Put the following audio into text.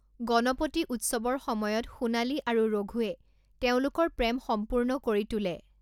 গণপতি উৎসৱৰ সময়ত সোণালী আৰু ৰঘুৱে তেওঁলোকৰ প্ৰেম সম্পূৰ্ণ কৰি তোলে।